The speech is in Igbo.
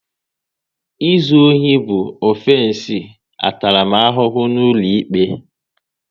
Ịzụ ohi bụ ọfensi ntaramahụhụ n'ụlọikpe